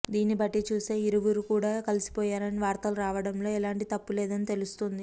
దీన్ని బట్టి చుస్తే వీరిరువురు కూడా కలిసిపోయారని వార్తలు రావడంలో ఎలాంటి తప్పు లేదని తెలుస్తుంది